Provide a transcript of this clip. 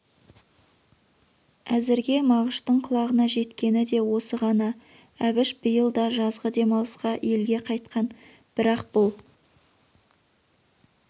әзірге мағыштың құлағына жеткені де осы ғана әбіш биыл да жазғы демалысқа елге қайтқан бірақ бұл